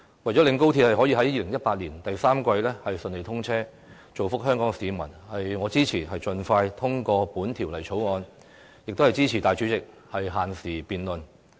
為了令高鐵可在2018年第三季順利通車，造福香港市民，我支持盡快通過《條例草案》，亦支持大會主席作限時辯論。